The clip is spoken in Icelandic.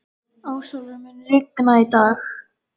Ásólfur, mun rigna í dag?